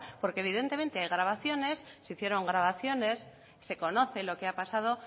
porque evidentemente hay grabaciones se hicieron grabaciones se conoce lo que ha pasado